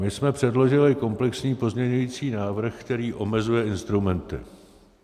My jsme předložili komplexní pozměňující návrh, který omezuje instrumenty.